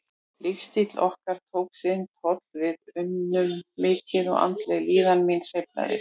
Lífsstíll okkar tók sinn toll, við unnum mikið og andleg líðan mín sveiflaðist.